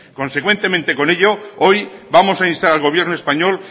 consecuentemente con ello hoy vamos a instar al gobierno español